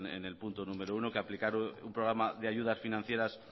en el punto número uno que aplicar un programa de ayudas financieras